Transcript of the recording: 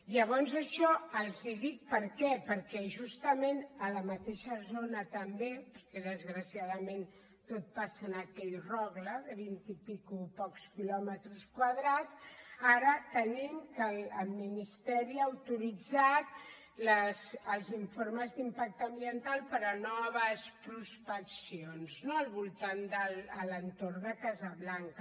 llavors això els ho dic per què perquè justament a la mateixa zona també perquè desgraciadament tot passa en aquell rogle de vintitants pocs quilòmetres quadrats ara tenim que el ministeri ha autoritzat els informes d’impacte ambiental per a noves prospeccions no a l’entorn de casablanca